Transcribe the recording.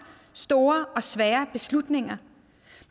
store og svære beslutninger